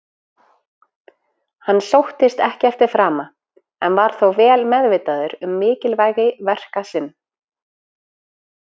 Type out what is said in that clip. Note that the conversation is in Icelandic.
Hann sóttist ekki eftir frama, en var þó vel meðvitaður um mikilvægi verka sinn.